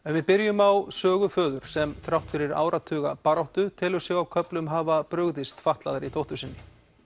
við byrjum á sögu föður sem þrátt fyrir baráttuna telur sig á köflum hafa brugðist fatlaðri dóttur sinni